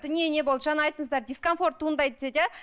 дүние не болды жаңа айттыңыздар дискомфорт туындайды деді иә